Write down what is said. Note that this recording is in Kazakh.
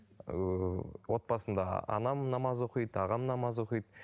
ыыы отбасымда анам намаз оқиды ағам намаз оқиды